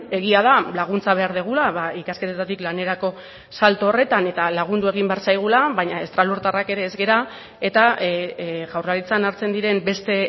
egia da laguntza behar dugula ikasketetatik lanerako salto horretan eta lagundu egin behar zaigula baina estralurtarrak ere ez gara eta jaurlaritzan hartzen diren beste